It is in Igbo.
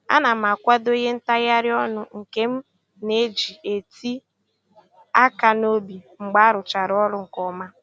A na m akwado ihe ntagharị ọnụ nke m na-eji eti aka n'obi mgbe a rụchara ọrụ nke ọma